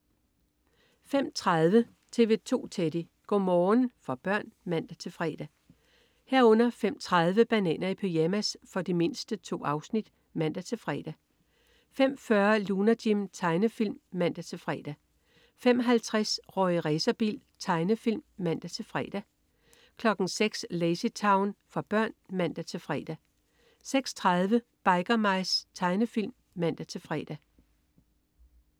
05.30 TV 2 Teddy. Go' morgen for børn (man-fre) 05.30 Bananer i pyjamas. For de mindste. 2 afsnit (man-fre) 05.40 Lunar Jim. Tegnefilm (man-fre) 05.50 Rorri Racerbil. Tegnefilm (man-fre) 06.00 Lazy Town. For børn (man-fre) 06.30 Biker Mice. Tegnefilm (man-fre)